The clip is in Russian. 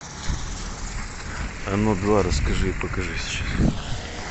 оно два расскажи и покажи сейчас